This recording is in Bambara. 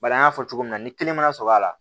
Bari an y'a fɔ cogo min na ni kelen mana sɔrɔ la